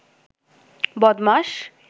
বদমাস